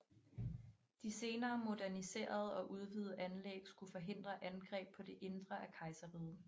De senere moderniserede og udvidede anlæg skulle forhindre angreb på det indre af kejserriget